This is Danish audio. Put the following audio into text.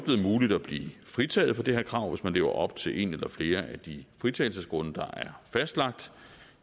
muligt at blive fritaget for det her krav hvis man lever op til en eller flere af de fritagelsesgrunde der er fastlagt